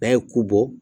N'a ye ku bɔ